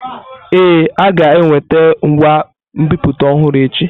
Ee, a ga-eweta ngwa nbipute ọhụrụ echi.